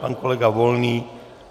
Pan kolega Volný?